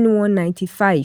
n one ninty five